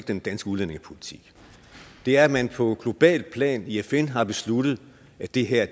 den danske udlændingepolitik det er at man på globalt plan i fn har besluttet at det her